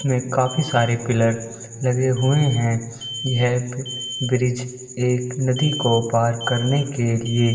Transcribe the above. उसमे काफी सारे पिलर लगे हुए है यह ब्रिज एक नदी को पार करने के लिए --